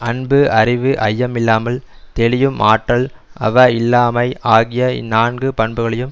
அன்பு அறிவு ஐயமில்லாமல் தெளியும் ஆற்றல் அவா இல்லாமை ஆகிய இந் நான்கு பண்புகளையும்